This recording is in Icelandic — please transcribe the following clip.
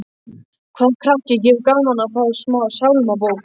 Hvaða krakki hefur gaman af að fá sálmabók?